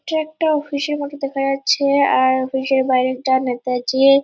এটা একটা অফিসের মত দেখা যাচ্ছে আর অফিসের বাইরেটা নেতাজি-ই--